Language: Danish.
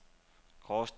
Gråsten